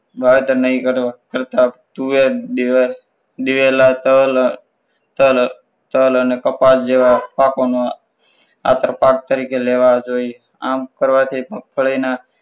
વાવેતર નહીં કરતા તુવેરો દિવેલ દિવેલો તલ તલ તલ અને કપાસ જેવા પાકો નો આંતરપાક તરીકે લેવા જોઈએ આમ કરવાથી મગફળીના